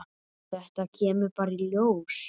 Þetta kemur bara í ljós.